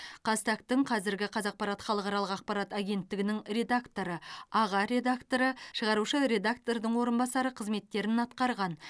қазтаг тың қазіргі қазақпарат халықаралық ақпарат агенттігінің редакторы аға редакторы шығарушы редактордың орынбасары қызметтерін атқарған